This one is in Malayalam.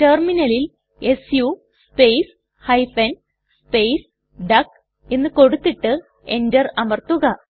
ടെർമിനലിൽ su space hyphen space duck എന്ന് കൊടുത്തിട്ട് Enter അമർത്തുക